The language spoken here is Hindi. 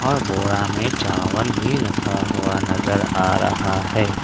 बोड़ा में चावल भी रखा हुआ नजर आ रहा है।